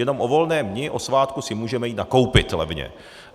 Jenom o volném dni, o svátku si můžeme jít nakoupit levně.